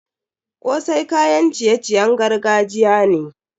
Kosai kayan ciye-ciyen gargajiya ne.